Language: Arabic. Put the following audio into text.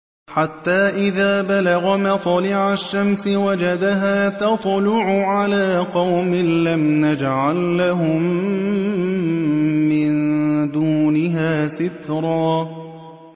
حَتَّىٰ إِذَا بَلَغَ مَطْلِعَ الشَّمْسِ وَجَدَهَا تَطْلُعُ عَلَىٰ قَوْمٍ لَّمْ نَجْعَل لَّهُم مِّن دُونِهَا سِتْرًا